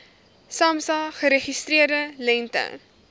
samsa geregistreerde lengte